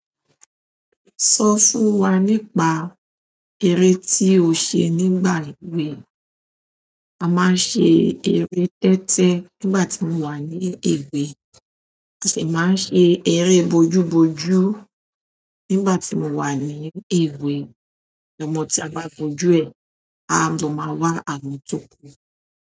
Sọ fún wa nípa eré tí o ṣe nígbà èwe. A máa ń ṣe eré tẹ́tẹ́ nígbà tí mo wà ní èwe à sì máa ń ṣe eré bojú bojú nígbà tí mo wà ní èwe. Ọmọ tí a bá bójú e a lọ máa wá àwọn tó kù.